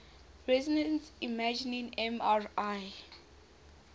resonance imaging mri